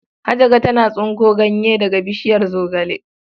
Hajara tana tsinko ganye daga bishiyar zogale.